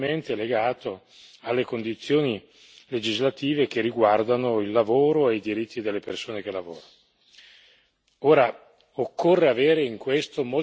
Non è tranquillizzante, però, che quello che rimane sia prevalentemente legato alle condizioni legislative che riguardano il lavoro e i diritti delle persone che lavorano.